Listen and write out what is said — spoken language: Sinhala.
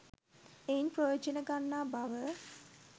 එයින් ප්‍රයෝජන ගන්නා බව,